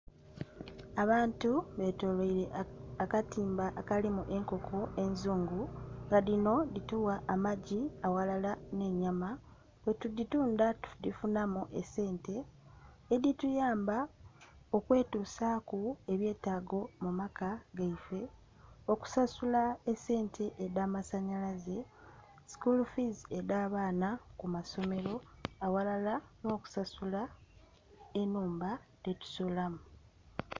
Abantu betoloire akatimba akalimu enkoko enzungu nga dhino dhitugha amagi aghalala n'enyama, bwetudhitundha tudhifunhamu esente edhituyamba okwetusaaku ebyetaago mu maka gaife, okusasula esente edhamasanhalaze, "school fees" edh'abaana ku masomero, aghalala n'okusasula ennhumba dhetusulamu.